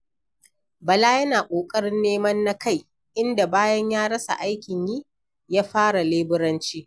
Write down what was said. Bala yana da ƙoƙarin neman na kai, inda bayan ya rasa aikin yi, ya fara leburanci.